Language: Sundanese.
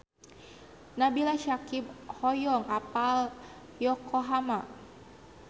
Nabila Syakieb hoyong apal Yokohama